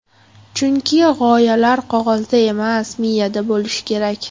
Chunki g‘oyalar qog‘ozda emas, miyada bo‘lishi kerak.